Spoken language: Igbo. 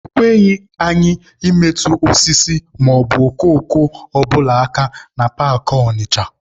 E kweghị anyị metụ osisi maọbụ okooko ọ bụla aka na paakị Ọnịcha.